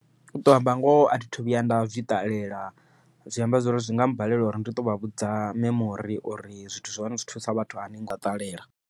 Uto amba ngoho athi thu vhuya nda zwi ṱalela zwi amba zwori zwi nga mbalela uri ndi ṱo vha vhudza memori uri zwithu zwa hone zwi thusa vhathu nga ṱalela.